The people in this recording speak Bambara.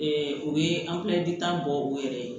o ye tan bɔ u yɛrɛ ye